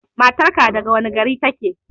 Matar ka daga wane gari take?